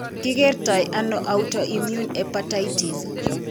Ki kertanano autoimmune hepatitis?